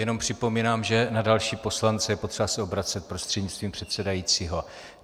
Jenom připomínám, že na další poslance je potřeba se obracet prostřednictvím předsedajícího.